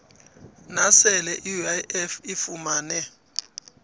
nasele iuif ifumene